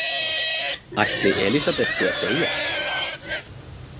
Ætli Elísabet sé að deyja?